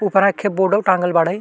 उपरा एकहे बोर्डो टाँगल बाड़े।